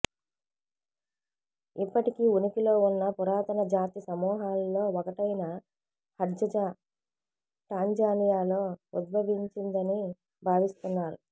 ఇప్పటికీ ఉనికిలో ఉన్న పురాతన జాతి సమూహాలలో ఒకటైన హడ్జజా టాంజానియాలో ఉద్భవించిందని భావిస్తున్నారు